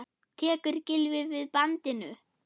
Tekur Gylfi við bandinu?